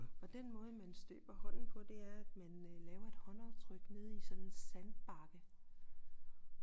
Og den måde man støber hånden på det er at man laver et håndaftryk nede i sådan en sandbakke